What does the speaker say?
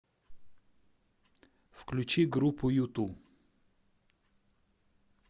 включи группу юту